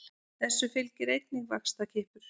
Þessu fylgir einnig vaxtarkippur.